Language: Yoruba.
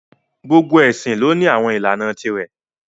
Gbogbo ẹ̀sìn lọ ní àwọn ìlànà ti rẹ̀